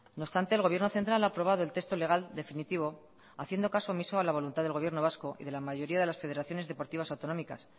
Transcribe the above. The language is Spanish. no obstante el gobierno central ha aprobado el texto legal definitivo haciendo caso omiso a la voluntad del gobierno vasco y de la mayoría de las federaciones deportivas autonómicas